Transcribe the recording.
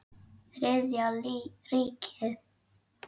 Þriðja ríkið.